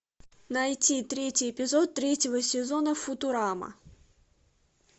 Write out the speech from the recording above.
найти третий эпизод третьего сезона футурама